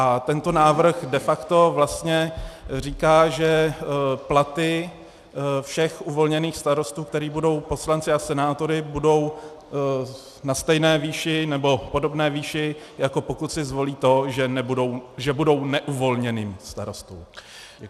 A tento návrh de facto vlastně říká, že platy všech uvolněných starostů, kteří budou poslanci a senátory, budou na stejné výši, nebo podobné výši, jako pokud si zvolí to, že budou neuvolněným starostou.